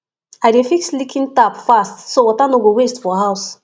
i dey fix leaking tap fast so water no go waste for house